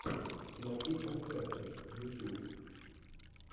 найди концерты ютьюб